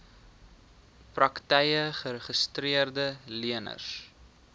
praktyke geregistreede leners